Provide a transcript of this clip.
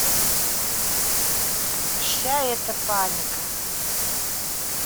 вся эта паника